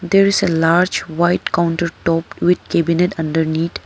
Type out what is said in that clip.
There is a large white counter top with cabinet underneath.